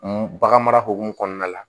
Bagan mara hukumu kɔnɔna la